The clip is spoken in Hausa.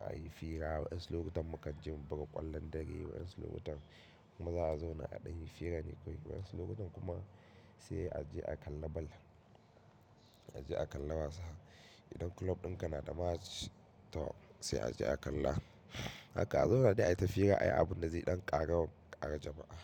a yi fira. Waannsu lokutan mu ka ji mun buga ƙwallon dare, wayansu lokutan maza a zauna a ɗan yi fira nan kawai. Wayansu lokutan kuma sai a je a kalla ball. A je a kalla wasa. Idan club ɗinka na da match to sai a je a kalla. Haka a zauna dai a yi ta fira, a yi abun da zai ɗan ƙara, ƙara jama'a.